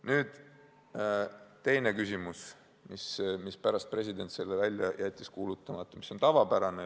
Nüüd, teine küsimus, mispärast president jättis selle seaduse välja kuulutamata.